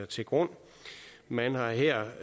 til grund man har her